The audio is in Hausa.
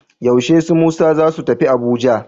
Yaushe su Musa za su tafi Abuja?